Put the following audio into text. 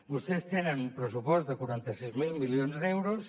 vostès tenen un pressupost de quaranta sis mil milions d’euros